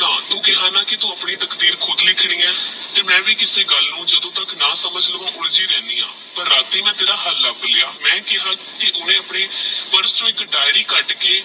ਨਾ ਤੂ ਕੇਹਾ ਆਂ ਤੂ ਆਪਣੀ ਤਕਦੀਰ ਖੁਦ ਲਿਖ ਰਹੀ ਹੈ ਤੇ ਮੈ ਵੀ ਕਿਸੇ ਗੱਲ ਨੂ ਜਦੋ ਤਕ ਨਾ ਸਮਝ ਲਵਾ ਉਲਝੀ ਰਿਹੰਦੀ ਹਾਂ ਪਰ ਰਾਤੀ ਮੈ ਤੇਰਾ ਹਾਲ ਲਬ ਲੇਆ ਮੈ ਕੇਹਾ ਓਹਨੀ ਆਪਣੇ purse ਤੋਂ ਏਕ ਡਾਇਰੀ ਕਢ ਕੇ